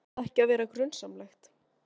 Fer það ekki að verða grunsamlegt?